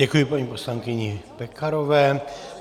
Děkuji paní poslankyni Pekarové.